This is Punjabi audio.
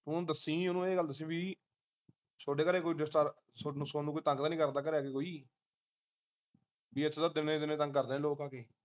ਹੁਣ ਦੱਸੀ ਉਹਨੂੰ ਇਹ ਗੱਲ ਦੱਸੀ ਬਈ ਥੋਡੇ ਘਰੇ ਕੋਈ disturb ਸੋਨੂੰ ਸੋਨੂੰ ਕੋਈ ਤੰਗ ਤਾਂ ਨੀ ਕਰਦਾ ਘਰੇ ਆ ਕੇ ਕੋਈ ਕੀ ਤਿੰਨੇ ਜਾਣੇ ਤੰਗ ਕਰਦੇ ਲੋਕ ਆ ਕੇ